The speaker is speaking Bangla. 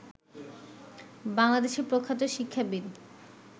বাংলাদেশের প্রখ্যাত শিক্ষাবিদ